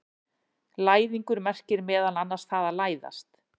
Læðingur merkir meðal annars það að læðast.